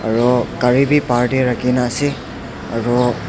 aro gari bi bahar tae rakhina ase.